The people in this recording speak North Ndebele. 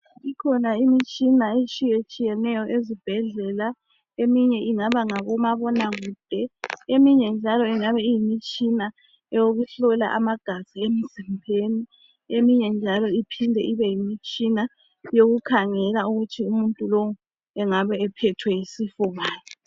Ikhona imitshina etshiyetshiyeneyo ezibhedlela eminye ingabe ngobomabonakude eminye njalo ingabe iyimitshina eyokuhlola amagazi emzimbeni eminye njalo iphinde ibe yimitshina yokukhangela ukuthi umuntu lowu engabe ephethwe yisifo bani.